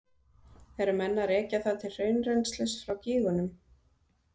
Eru menn að rekja það til hraunrennslis frá gígunum?